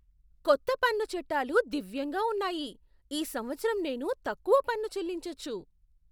కొత్త పన్ను చట్టాలు దివ్యంగా ఉన్నాయి! ఈ సంవత్సరం నేను తక్కువ పన్ను చెల్లించొచ్చు!